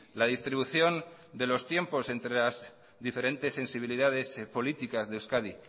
la distribución de los tiempos entre las diferentes sensibilidades políticas de euskadi